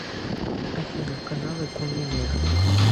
афина каналы конный мир